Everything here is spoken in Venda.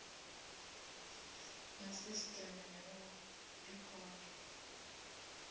na sisiteme ya u rekhoda